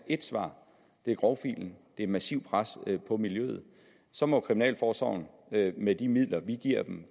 et svar det er grovfilen det er massivt pres på miljøet så må kriminalforsorgen med de midler vi giver dem